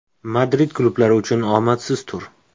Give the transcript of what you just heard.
Madrid klublari uchun omadsiz tur.